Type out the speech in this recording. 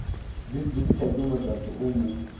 distributor ke motato o mo